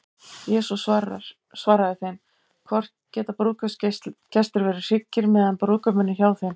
Jesús svaraði þeim: Hvort geta brúðkaupsgestir verið hryggir, meðan brúðguminn er hjá þeim?